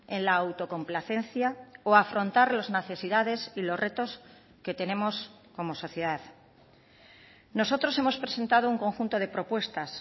en la autocomplacencia o afrontar las necesidades y los retos que tenemos como sociedad nosotros hemos presentado un conjunto de propuestas